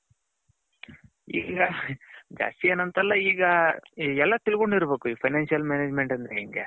ಈಗ ಎಲ್ಲಾ ತಿಲ್ಕೊಂಡಿರ್ಬೇಕು ಈ financial management ಅಂದ್ರೆ ಹೆಂಗೆ .